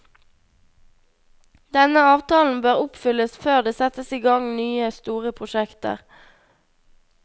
Denne avtalen bør oppfylles før det settes i gang nye, store prosjekter.